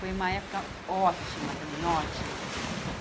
Foi uma época ótima também, ótima.